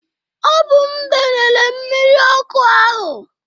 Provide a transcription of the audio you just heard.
Ọ bụ m danyere mmiri ọkụ ahụ.